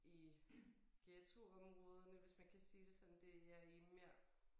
I ghettoområderne hvis man kan sige det sådan det er i mere